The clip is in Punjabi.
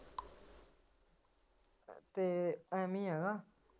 ਤੇ ਏਵੇ ਆ ਹੈਨਾ